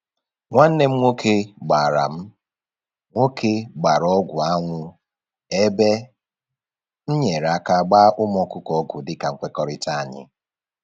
Nwanne m nwoke gbara m nwoke gbara ọgwụ anwụ ebe m nyere aka gbaa ụmụ ọkụkọ ọgwụ dịka nkwekọrịta anyị